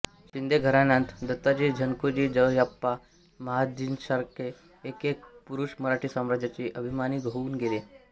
शिंदे घराण्यांत दत्ताजी जनकोजी जयाप्पा महादजींसारखे एक एक पुरुष मराठी साम्राज्याचे अभिमानी होऊन गेले